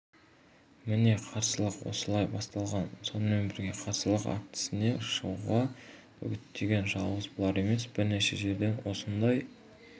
міне қарсылық осылай басталған сонымен бірге қарсылық актісіне шығуға үгіттеген жалғыз бұлар емес бірнеше жерден осындай